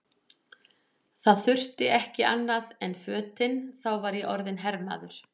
Það þurfti ekki annað en fötin, þá var ég orðinn hermaður!